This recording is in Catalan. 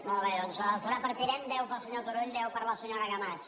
molt bé doncs els repartiré en deu per al senyor turull deu per a la senyora camats